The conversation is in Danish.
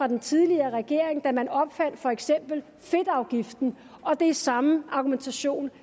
den tidligere regering da man opfandt for eksempel fedtafgiften og det er samme argumentation